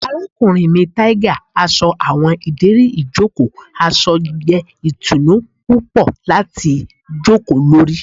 Arakunrin arakunrin mi tiger aṣọ awọn ideri ijoko aṣọ jẹ itunu pupọ lati joko lori